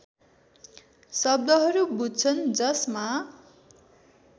शब्दहरू बुझ्छन् जसमा